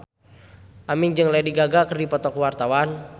Aming jeung Lady Gaga keur dipoto ku wartawan